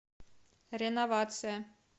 реновация